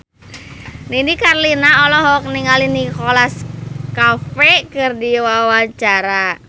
Nini Carlina olohok ningali Nicholas Cafe keur diwawancara